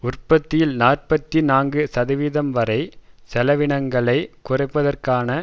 உற்பத்தியில் நாற்பத்தி நான்கு சதவிகிதம்வரை செலவினங்களை குறைப்பதற்காக